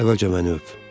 əvvəlcə məni öp.